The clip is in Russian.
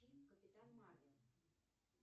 фильм капитан марвел